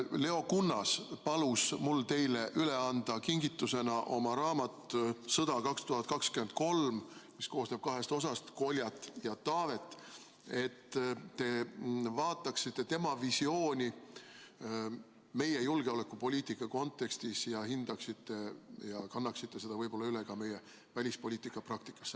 Leo Kunnas palus mul teile kingitusena üle anda oma raamatu "Sõda 2023", mis koosneb kahest osast: "Koljat" ja "Taavet", et te vaataksite tema visiooni meie julgeolekupoliitika kontekstis, hindaksite seda ja kannaksite selle võib-olla üle ka meie välispoliitika praktikasse.